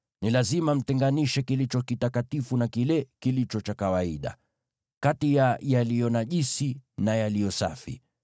Ni lazima mtenganishe kilicho kitakatifu na kile kilicho cha kawaida, kati ya yaliyo najisi na yaliyo safi,